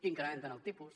incrementen el tipus